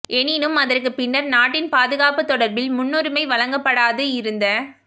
எனினும் அதற்கு பின்னர் நாட்டின் பாதுகாப்பு தொடர்பில் முன்னுரிமை வழங்கப்படாது இருந்த